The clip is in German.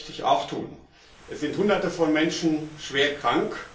Das möchte ich auch tun. Es sind Hunderte von Menschen schwer krank.